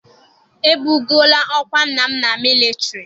E bugoola ọkwa nna m na militari.